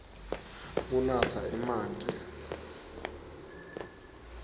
kunatsa emanti